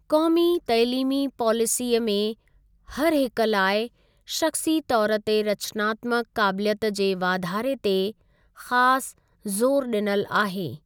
क़ौमी तइलीमी पॉलिसीअ में हरहिकु लाइ शख़्सी तौर ते रचनात्मक काबिलियत जे वाधारे ते ख़ासि ज़ोरु डिनल आहे।